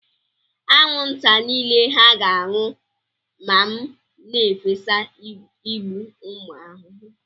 Anwụnta niile hà ga-anwụ ma m na-efesa igbu ụmụ ahụhụ?